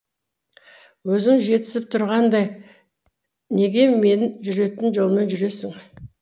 өзің жетісіп тұрғандай неге мен жүретін жолмен жүресің